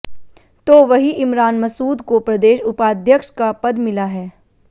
तो वही इमरान मसूद को प्रदेश उपाध्यक्ष का पद मिला है